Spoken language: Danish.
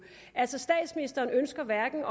altså statsministeren ønsker hverken